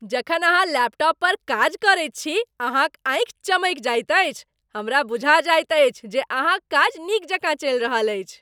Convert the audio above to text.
जखन अहाँ लैपटॉप पर काज करैत छी अहाँक आँखि चमकि जाइत अछि, हमरा बुझा जाइत अछि जे अहाँक काज नीक जकाँ चलि रहल अछि।